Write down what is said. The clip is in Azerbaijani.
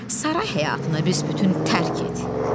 Saray həyatını büsbütün tərk et.